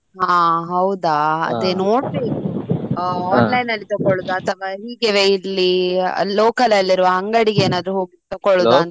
ಹಾ ಹೌದಾ ಅದೇ ನೋಡ್ಬೇಕು online ಅಲ್ಲಿ ತಗೊಳ್ಳುದ ಅಥವಾ ಹೀಗೆವೆ ಇಲ್ಲಿ local ಅಲ್ಲಿರುವ ಅಂಗಡಿಗೆ ಏನಾದ್ರೂ ಹೋಗಿ ತಕೊಳ್ಳುದಾ ಅಂತ.